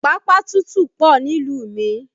Pápá tútù pọ nílùú mi